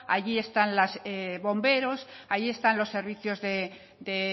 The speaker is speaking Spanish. allí están las bomberos allí están los servicios de